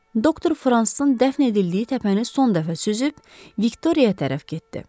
Doktor Fransın dəfn edildiyi təpəni son dəfə süzüb Viktoriya tərəf getdi.